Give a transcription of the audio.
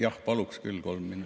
Jah, paluksin küll kolm minutit.